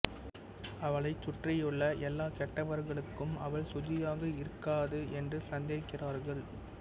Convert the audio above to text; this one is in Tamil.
அவளைச் சுற்றியுள்ள எல்லா கெட்டவர்களும் அவள் சுஜியாக இருக்கக்காது என்று சந்தேகிக்கிறார்கள்